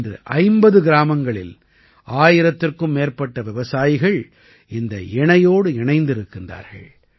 இன்று 50 கிராமங்களில் ஆயிரத்திற்கும் மேற்பட்ட விவசாயிகள் இந்த இணையோடு இணைந்திருக்கின்றார்கள்